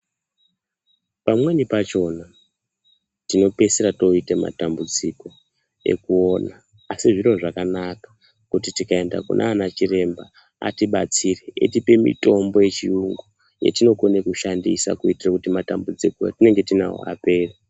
Pamweni pachona tinopedzisira toite matambudziko ekuona, asi zviro zvakanaka kuti tikaenda kunanachiremba atibatsire eyitipe mitombo yechiyungu yetinokone kushandisa kuitire kuti matambudziko etinenge tinawo apere.